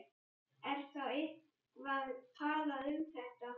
Er þá eitthvað talað um þetta?